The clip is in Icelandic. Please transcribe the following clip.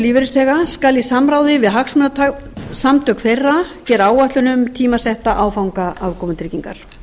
framfærslu lífeyrisþega skal í samráði við hagsmunasamtök þeirra gera áætlun um tímasetta áfanga afkomutryggingar